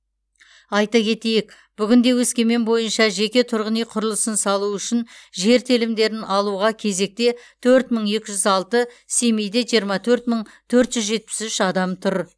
айта кетейік бүгінде өскемен бойынша жеке тұрғын үй құрылысын салу үшін жер телімдерін алуға кезекте төрт мың екі жүз алты семейде жиырма төрт мың төрт жүз жетпіс үш адам тұр